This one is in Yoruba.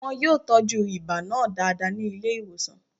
Wọn yóò tọ́jú ibà náà dáadáa ní ilé ìwòsàn